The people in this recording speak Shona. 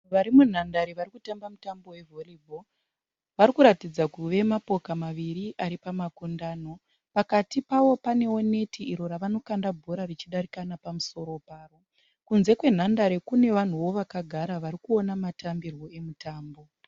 Vanhu vari munhandare vari kutamba mutambo we volleyball. Vari kuratidza kuve mapoka maviri ari pamakundano. Pakati pavo panewo neti iro ravanokanda bhora richidarika nepamusoro paro. Kunze kwenhandare kunewo vanhuwo vakagara varikuona matambirwo emutambo.